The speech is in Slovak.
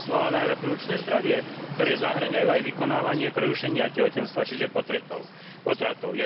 sexuálne a reprodukčné zdravie, ktoré zahŕňajú aj vykonávanie prerušenia tehotenstva, čiže potratov.